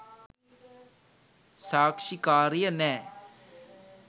සාක්ෂිකාරිය නෑ